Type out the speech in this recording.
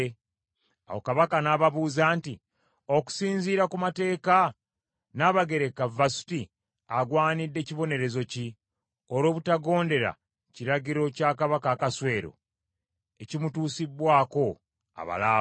Awo Kabaka n’ababuuza nti, “Okusinziira ku mateeka, Nnabagereka Vasuti agwanidde kibonerezo ki olw’obutagondera kiragiro kya Kabaka Akaswero ekimutuusibbwako abalaawe?”